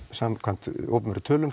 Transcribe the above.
samkvæmt opinberum tölum